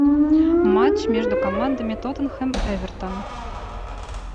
матч между командами тоттенхэм эвертон